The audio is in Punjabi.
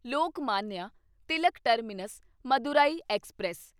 Lokmanya Tilak terminus Madurai express